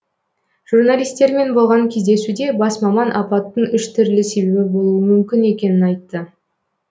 журналистермен болған кездесуде бас маман апаттың үш түрлі себебі болуы мүмкін екенін айтты